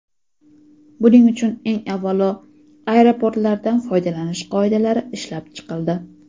Buning uchun eng avvalo aeroportlardan foydalanish qoidalari ishlab chiqildi.